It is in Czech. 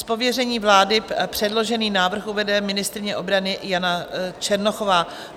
Z pověření vlády předložený návrh uvede ministryně obrany Jana Černochová.